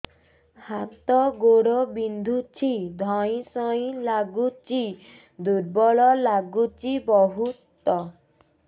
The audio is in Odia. ହାତ ଗୋଡ ବିନ୍ଧୁଛି ଧଇଁସଇଁ ଲାଗୁଚି ଦୁର୍ବଳ ଲାଗୁଚି ବହୁତ